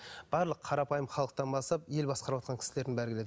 барлық қарапайым халықтан бастап ел басқарыватқан кісілердің бәрі келеді